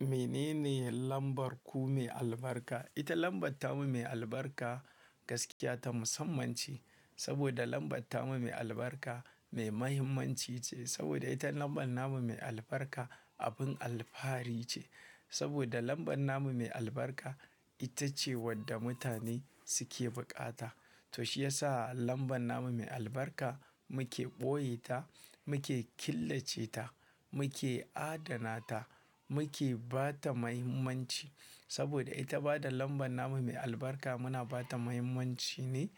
Menene lambar ku mai albarka? Ita lambar tamu mai albarka gaskiya ta musamman ce. Saboda lambar tamu mai albarka mai muhimmanci ce. Saboda ita lambar namu mai albarka abin alfahari ce. Saboda lambar namu mai albarka ita ce wadda mutane suke bukata. To shi yasa lambar namu mai albarka muke ɓoye ta, muke killace ta, muke adana ta, muke ba ta muhimmanci. Saboda ita ba da lambar namu mai albarka muna ba ta muhimmanci ne